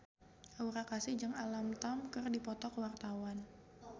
Aura Kasih jeung Alam Tam keur dipoto ku wartawan